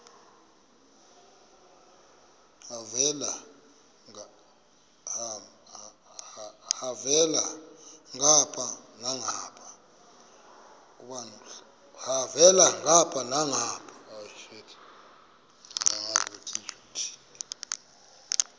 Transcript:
elhavela ngapha nangapha